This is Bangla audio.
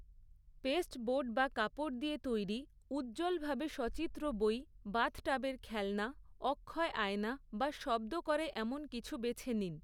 পেস্টবোর্ড বা কাপড় দিয়ে তৈরি উজ্জ্বলভাবে সচিত্র বই, বাথটাবের খেলনা, অক্ষয় আয়না বা শব্দ করে এমন কিছু বেছে নিন।